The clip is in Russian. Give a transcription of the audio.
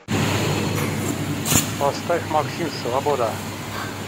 поставь максим свобода